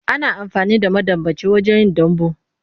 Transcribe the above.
Ana amfani da madambaci wajen yin dambu.